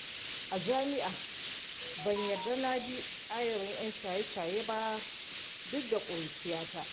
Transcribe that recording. A jam'ia ban yarda na bi ayarin 'yan shaye-shaye ba duk da ƙuruciyata